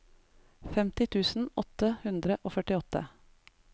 femti tusen åtte hundre og førtiåtte